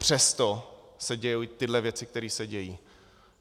Přesto se dějí tyto věci, které se dějí.